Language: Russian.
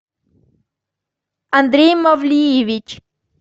андрей мавлиевич